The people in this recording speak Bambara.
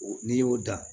N'i y'o dan